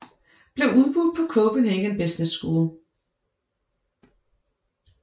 Blev udbudt på Copenhagen Business School